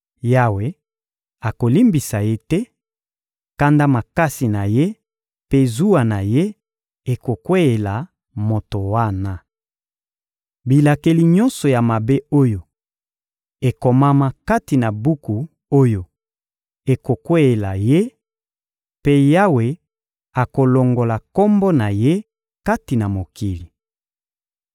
Yawe akolimbisa ye te; kanda makasi na Ye mpe zuwa na Ye ekokweyela moto wana. Bilakeli nyonso ya mabe oyo ekomama kati na buku oyo ekokweyela ye mpe Yawe akolongola kombo na ye kati na mokili.